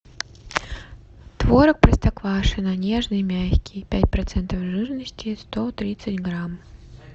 творог простоквашино нежный мягкий пять процентов жирности сто тридцать грамм